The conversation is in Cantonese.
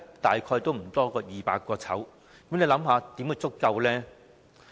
大概不多於200個，試問怎會足夠？